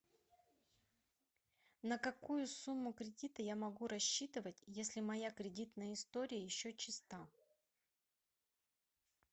на какую сумму кредита я могу рассчитывать если моя кредитная история еще чиста